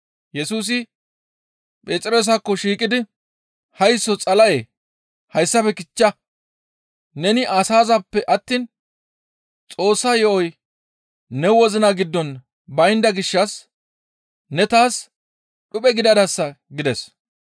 Yesusi Phexroosakko shiiqidi, «Haysso Xala7ee! Hayssafe kichcha! Neni asazaappe attiin Xoossa yo7oy ne wozina giddon baynda gishshas ne taas dhuphe gidadasa» gides.